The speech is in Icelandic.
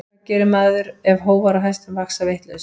Hvað gerir maður ef hófar á hestum vaxa vitlaust?